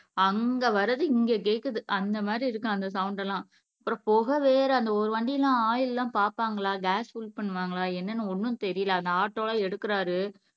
அங்க வர்றது இங்க கேட்குது அந்த மாதிரி இருக்கும் அந்த சவுண்ட் எல்லாம் அப்புறம் புகை வேற அந்த ஒரு வண்டி எல்லாம் ஆயில் எல்லாம் பார்ப்பாங்களா காஸ் புல் பண்ணுவாங்களா என்னன்னு ஒண்ணும் தெரியல அந்த ஆட்டோலாம் எடுக்குறாரு